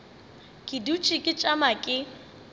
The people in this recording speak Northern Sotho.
ke dutše ke tšama ke